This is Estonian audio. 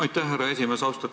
Aitäh, härra esimees!